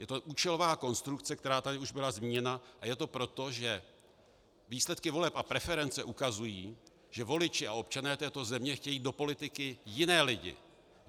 Je to účelová konstrukce, která tady už byla zmíněna, a je to proto, že výsledky voleb a preference ukazují, že voliči a občané této země chtějí do politiky jiné lidi.